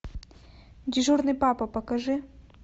дежурный папа покажи